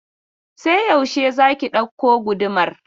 Sai yaushe za ki ɗauko gudumar?